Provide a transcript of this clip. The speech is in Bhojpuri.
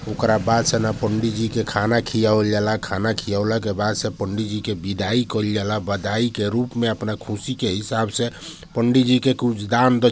ओकरा बाद से ना पंडी जी के खाना खियावल जाला खाना खियवला के बाद से ना पंडी जी के बिदाई कइल जाला बदाई के रूप में अपन ख़ुशी के हिसाब से पंडी जी के कुछ दान द--